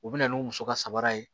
U bɛ na n'u muso ka sabara ye